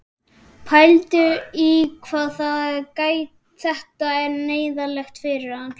Pældu í því hvað þetta er neyðarlegt fyrir hann!